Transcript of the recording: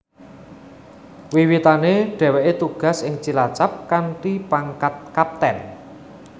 Wiwitane dheweke tugas ing Cilacap kanthi pangkat Kapten